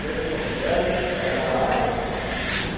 Cheguei em Porto Velho, era... O que aconteceu? ãh